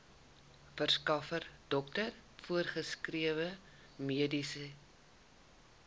verskaffer dokter voorgeskrewemedikasie